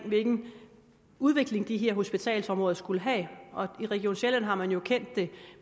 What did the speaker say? hvilken udvikling de her hospitalsområder skulle have i region sjælland har man jo kendt det